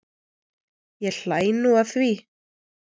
Ég hlæ nú að því.